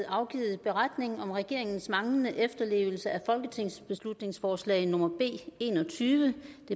afgivet beretning om regeringens manglende efterlevelse af folketingsbeslutningsforslag nummer b enogtyvende